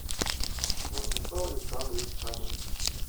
владислав александрович фомин